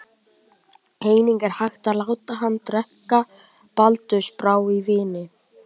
Einnig er hægt að láta hana drekka baldursbrá í víni.